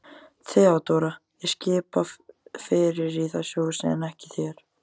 THEODÓRA: Ég skipa fyrir í þessu húsi en ekki þér.